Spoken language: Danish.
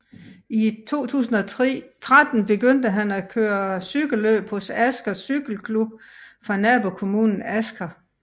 I 2013 begyndte han at køre cykelløb hos Asker Cykleklubb fra nabokommunen Asker